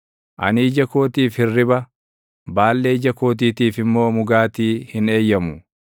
Ani ija kootiif hirriba, baallee ija kootiitiif immoo mugaatii hin eeyyamu;